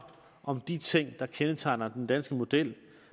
om de ting der kendetegner den danske model